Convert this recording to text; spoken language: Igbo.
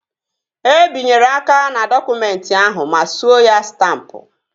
E binyere aka n'dọkụmentị ahụ ma suo ya stampụ